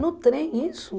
No trem, isso?